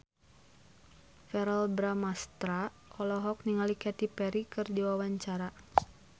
Verrell Bramastra olohok ningali Katy Perry keur diwawancara